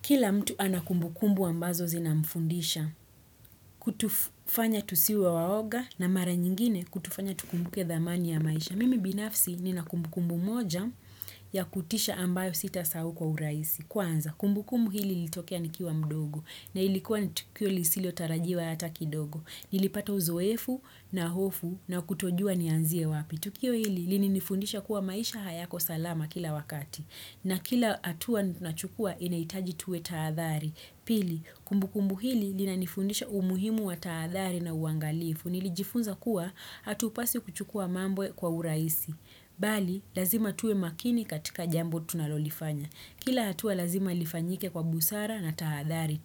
Kila mtu anakumbukumbu ambazo zinamfundisha, kutufanya tusiwe waoga na mara nyingine kutufanya tukumbuke dhamani ya maisha. Mimi binafsi ninakumbukumbu moja ya kutisha ambayo sitasahau kwa uraisi. Kwanza, kumbukumbu hili ilitokea nikiwa mdogo na ilikuwa ni tukio lisilio tarajiwa hata kidogo. Nilipata uzoefu na hofu na kutojua nianzie wapi. Tukio hili, lini nifundisha kuwa maisha hayako salama kila wakati. Na kila hatua nachukua inahitaji tuwe taadhhari. Pili, kumbukumbu hili linanifundisha umuhimu wa taathari na uangalifu. Nili jifunza kuwa hatupaswi kuchukua mambo.kwa uraisi. Bali, lazima tuwe makini katika jambo tunalolifanya. Kila hatua lazima ilifanyike kwa busara na taathari.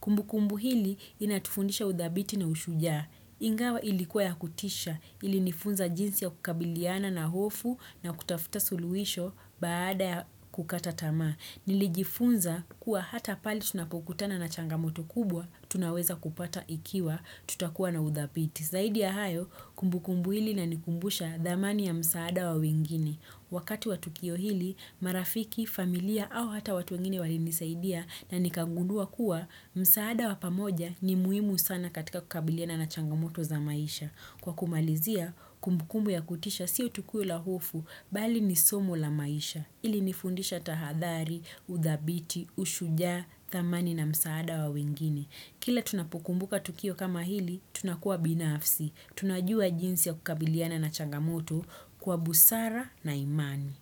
Kumbu kumbu hili inatufundisha udhabiti na ushujaa. Ingawa ilikuwa ya kutisha ilinifunza jinsi ya kukabiliana na hofu na kutafuta suluhisho baada ya kukata tamaa. Nilijifunza kuwa hata pale tunapokutana na changamoto kubwa tunaweza kupata ikiwa tutakuwa na udhabiti. Zaidi ya hayo, kumbukumbu hili inanikumbusha dhamani ya msaada wa wengine. Wakati wa tukio hili, marafiki, familia au hata watu wengine wali nisaidia na nikangunua kuwa msaada wa pamoja ni muhimu sana katika kukabiliana na changamoto za maisha. Kwa kumalizia, kumbukumbu ya kutisha siyo tu kuwa lahofu, bali ni somu la maisha. Hili nifundisha tahadhari, udhabiti, ushujaa, dhamani na msaada wa wengine. Kila tunapokumbuka tukio kama hili, tunakuwa binafsi. Tunajua jinsi ya kukabiliana na changamoto kwa busara na imani.